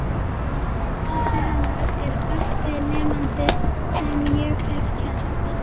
Pabbi hennar er besti nemandi sem ég hef kennt.